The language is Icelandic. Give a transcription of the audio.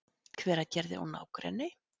Hveragerði og nágrenni.